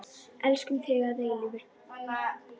Elskum þig að eilífu.